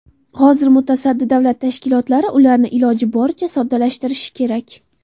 Hozir mutasaddi davlat tashkilotlari ularni iloji boricha soddalashtirishi kerak.